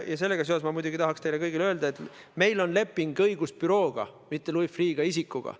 Ja sellega seoses ma muidugi tahaksin teile kõigile öelda, et meil on leping õigusbürooga, mitte Louis Freeh' isikuga.